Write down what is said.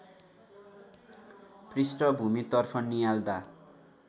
पृष्ठभूमितर्फ नियाल्दा